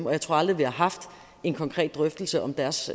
og jeg tror aldrig vi har haft en konkret drøftelse om deres